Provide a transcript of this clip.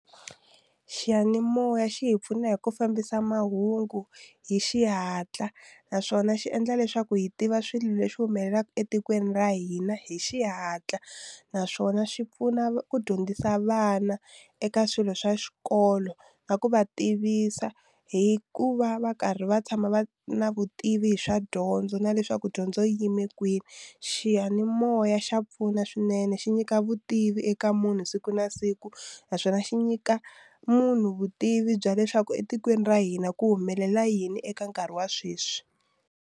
Xiyanimoya xi hi pfuna hi ku fambisa mahungu hi xihatla naswona xi endla leswaku hi tiva swilo leswi humelelaka etikweni ra hina hi xihatla naswona xi pfuna ku dyondzisa vana eka swilo swa xikolo na ku va tivisa hi ku va va karhi va tshama va na vutivi hi swa dyondzo na leswaku dyondzo yi yime kwini xiyanimoya xa pfuna swinene xi nyika vutivi eka munhu siku na siku naswona xi nyika munhu vutivi bya leswaku etikweni ra hina ku humelela yini eka nkarhi wa sweswi.